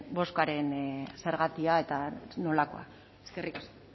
botoaren zergatia eta nolakoa eskerrik asko